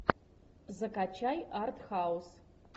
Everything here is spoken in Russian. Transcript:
закачай арт хаус